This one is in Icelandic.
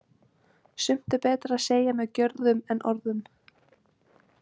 Sumt er betra að segja með gjörðum en orðum.